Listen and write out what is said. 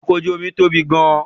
Ọkọ̀ ojú omi tóbi gan-an